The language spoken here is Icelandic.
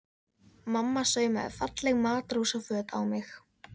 Mamma saumaði falleg matrósaföt á mig.